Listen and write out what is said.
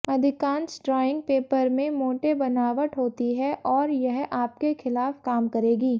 अधिकांश drawing paper में मोटे बनावट होती है और यह आपके खिलाफ काम करेगी